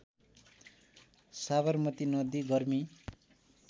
साबरमती नदी गर्मी